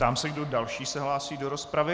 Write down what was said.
Ptám se, kdo další se hlásí do rozpravy.